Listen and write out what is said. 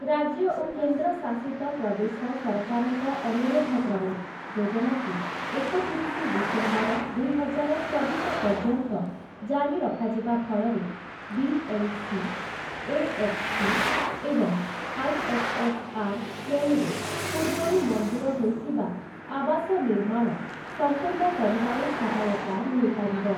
ରାଜ୍ୟ ଓ କେନ୍ଦ୍ର ଶାସିତ ପ୍ରଦେଶ ସରକାରଙ୍କ ଅନୁରୋଧ କ୍ରମେ ଯୋଜନାକୁ ଏକତିରିଶି ଡିସେମ୍ବର ଦୁଇହଜାର ଚବିଶ ପର୍ଯ୍ୟନ୍ତ ଜାରି ରଖାଯିବା ଫଳରେ ବି.ଏଲ୍‌.ସି, ଏ.ଏଚ୍‌.ପି. ଏବଂ ଆଇ.ଏସ୍‌.ଏସ୍‌.ଆର୍. ଶ୍ରେଣୀରେ ପୂର୍ବରୁ ମଞ୍ଜୁର ହୋଇଥିବା ଆବାସ ନିର୍ମାଣ ସମ୍ପୂର୍ଣ୍ଣ କରିବାରେ ସହାୟତା ମିଳିପାରିବ ।